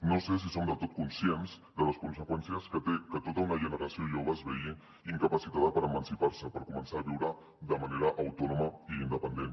no sé si som del tot conscients de les conseqüències que té que tota una generació jove es vegi incapacitada per emancipar se per començar a viure de manera autònoma i independent